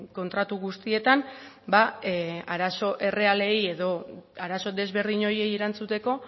kontratu guztietan arazo errealei edo arazo desberdin horiei erantzuteko